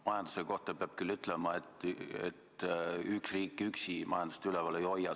Majanduse kohta peab küll ütlema, et üks riik üksi majandust üleval ei hoia.